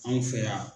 Anw fɛ yan